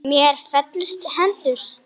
Mér féllust hendur.